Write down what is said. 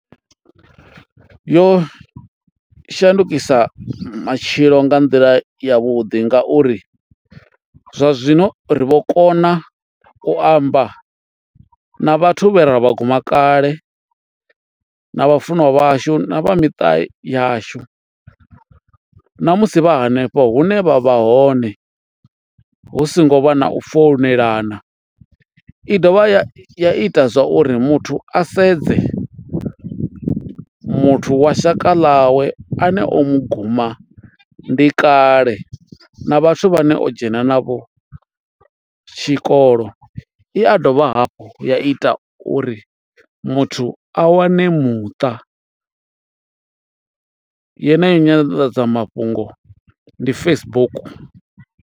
Yo shandukisa matshilo nga nḓila ya vhuḓi ngauri zwa zwino ri vho kona u amba na vhathu vhe ra vha guma kale na vhafunwa vhashu na vha miṱa yashu na musi vha hanefho hune vha vha hone hu songo vha na u founela, i dovha ya ita zwa uri muthu a sedze muthu wa shaka ḽawe ane o mu guma ndi kale na vhathu vhane o dzhena navho tshikolo i a dovha hafhu ya ita uri muthu a wane muṱa yeneyo nyanḓadzamafhungo ndi Facebook.